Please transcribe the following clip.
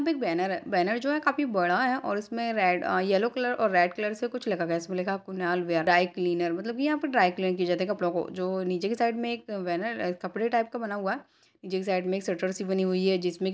यहाँ पे एक बैनर है बैनर जो की काफी बड़ा है और उसमे रेड अ येल्लो कलर और रेड कलर से कुछ लिखा गया इसमें लिखा गया है कुनाल वे-ड्राई क्लीनर मतलब की यहाँ पे ड्राई क्लीन किया जाता है कपड़ों को जो नीचे के साइड में एक बैनर कपड़े टाइप का बना हुआ है नीचे के साइड में शटर सी बनी हुई है जिसमे की --